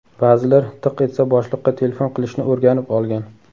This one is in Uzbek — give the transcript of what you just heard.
Ba’zilar tiq etsa boshliqqa telefon qilishni o‘rganib olgan.